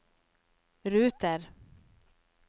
ruter